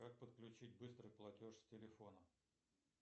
как подключить быстрый платеж с телефона